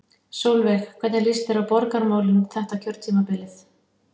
Sólveig: Hvernig líst þér á borgarmálin þetta kjörtímabilið?